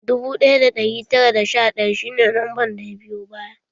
Dubu ɗaya da ɗari tara da sha ɗaya shi ne lamban da ya biyo baya